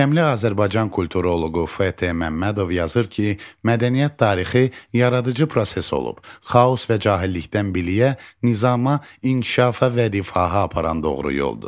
Görkəmli Azərbaycan kulturoloqu F. T. Məmmədov yazır ki, mədəniyyət tarixi yaradıcı proses olub, xaos və cahillikdən biliyə, nizama, inkişafa və rifaha aparan doğru yoldur.